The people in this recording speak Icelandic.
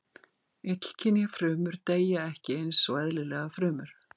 Illkynja frumur deyja ekki eins og eðlilegar frumur.